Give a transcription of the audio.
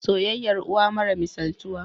soyayyar uwa mara misaltuwa